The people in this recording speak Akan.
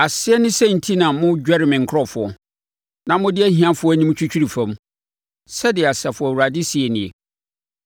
Aseɛ ne sɛn enti na modwɛre me nkurɔfoɔ na mode ahiafoɔ anim twitwiri fam?” Sɛdeɛ Asafo Awurade seɛ nie.